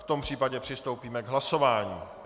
V tom případě přistoupíme k hlasování.